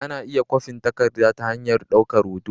Ana iya kwafin takarda ta hanyar daukar hoto